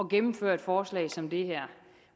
gennemføre et forslag som det her